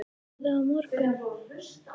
Kemurðu á morgun?